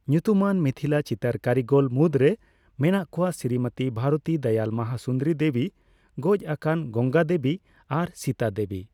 ᱧᱩᱛᱩᱢᱟᱱ ᱢᱤᱛᱷᱤᱞᱟᱹ ᱪᱤᱛᱟᱹᱨ ᱠᱟᱹᱨᱤᱜᱚᱞ ᱢᱩᱫ ᱨᱮ ᱢᱮᱱᱟᱜ ᱠᱚᱣᱟ ᱥᱨᱤᱢᱚᱛᱤ ᱵᱷᱟᱨᱚᱛᱤ ᱫᱚᱭᱟᱞ ᱢᱟᱦᱟᱥᱩᱱᱫᱚᱨᱤ ᱫᱮᱵᱤ, ᱜᱚᱡ ᱟᱠᱟᱱ ᱜᱚᱝᱜᱟ ᱫᱮᱵᱤ, ᱟᱨ ᱥᱤᱛᱟ ᱫᱮᱵᱤ ᱾